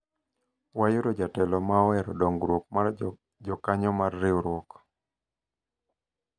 wayudo jatelo ma ohero dongruok mar jokanyo mar riwruok